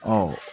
Ɔ